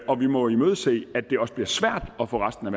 og vi må imødese at det også bliver svært at få resten af